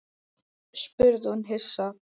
spurði hún hissa.